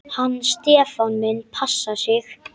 Hann Stefán minn passar sig.